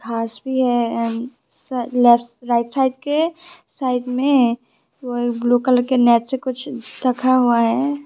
घास भी है एण्ड लेफ्ट राइट साइड के साइड में ओ ब्लू कलर के नेट पे कुछ रखा हुआ है।